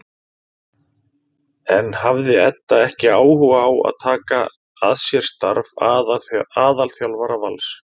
En hafði Edda ekki áhuga á að taka að sér starf aðalþjálfara Vals?